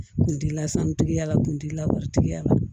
Kun dila santigiya la kuntigila wari tigiya la